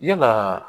Yalaa